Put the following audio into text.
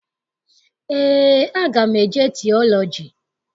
Eé, aga m eje tiọlọji.